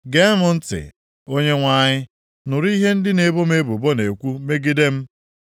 Gee m ntị, Onyenwe anyị. Nụrụ ihe ndị na-ebo m ebubo na-ekwu megide m.